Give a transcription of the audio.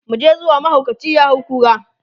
muje zuwa! mahaukaci ya hay kura